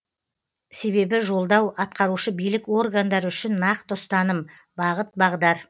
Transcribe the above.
себебі жолдау атқарушы билік органдары үшін нақты ұстаным бағыт бағдар